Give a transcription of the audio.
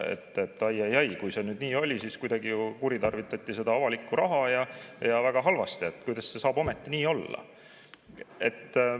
Et ai-ai-ai, kui see nii oli, siis kuritarvitati avalikku raha ja see on väga halb ja kuidas see saab ometi nii olla.